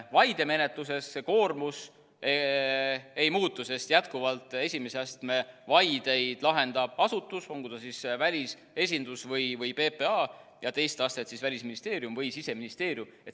Vaidemenetluses koormus ei muutu, sest jätkuvalt esimese astme vaideid lahendab asutus, olgu ta siis välisesindus või PPA, ja teist astet siis Välisministeerium või Siseministeerium.